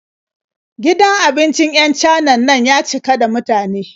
Gidan abincin 'yan Canan na ya cika da mutane.